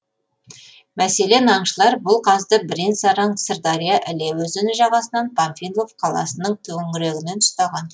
мәселен аңшылар бұл қазды бірен саран сырдария іле өзені жағасынан панфилов қаласынын төңірегінен ұстаған